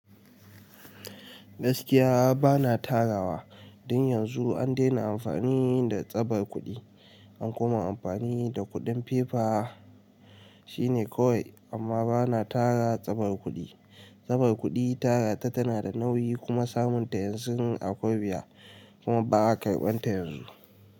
Gaskiya ba na tarawa. Don yanzu an dena amfani da tsabar kuɗi, an koma amfani da kuɗin fefa. Shine kawai amma ba na tara tsabar kuɗi. Tsabar kuɗi tara ta tana da nauyi kuma samun ta yanzun akwai wuya. Kuma ba a karɓan ta yanzu.